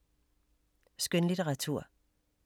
Skønlitteratur